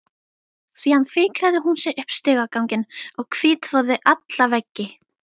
Síðan fikraði hún sig upp stigaganginn og hvítþvoði alla veggi.